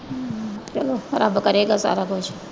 ਚਲੋ ਰੱਬ ਕਰੇਗਾ ਸਾਰਾ ਕੁੱਛ।